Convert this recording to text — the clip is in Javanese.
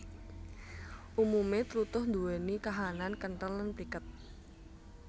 Umume tlutuh nduweni kahanan kenthel lan pliket